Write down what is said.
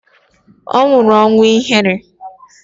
Ọ nwụrụ ọnwụ ihere